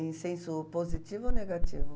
Em senso positivo ou negativo?